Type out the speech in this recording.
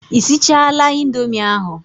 Ị sichaala indomi ahụ?